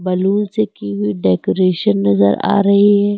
Balloon से की हुई डेकोरेशन नजर आ रही है।